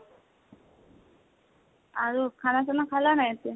আৰু, খানা চানা খালা হয় এতিয়া?